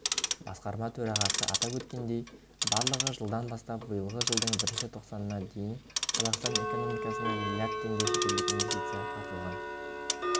басқарма төрағасы атап өткендей барлығы жылдан бастап биылғы жылдың бірінші тоқсанына дейін қазақстан экономикасына млрд теңге шетелдік инвестиция тартылған